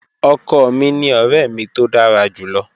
Ọkọ mi ni ọrẹ mi to dara julọ.